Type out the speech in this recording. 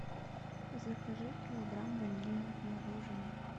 закажи килограмм ванильного мороженого